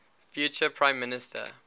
future prime minister